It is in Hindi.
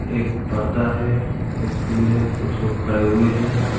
एक पर्दा है एक फूल है कुछ लोग खड़े हुए हैं।